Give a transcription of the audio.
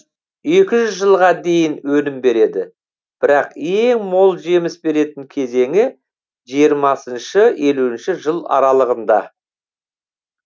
екі жүз жылға дейін өнім береді бірақ ең мол жеміс беретін кезеңі жиырма елу жыл аралығында